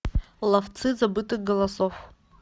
ловцы забытых голосов